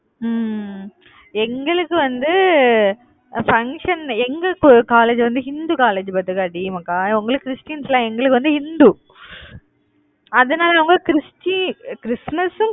உம் உம் உம் எங்களுக்கு வந்து அஹ் function எங்க கு college வந்து இந்து college பாத்துக்க டி மக்கா உங்களுது கிறிஸ்டியன்ல எங்களுக்கு வந்து இந்து அதனால உங்களுக்கு கிறிஸ்டி~ அஹ் கிறிஸ்துமஸு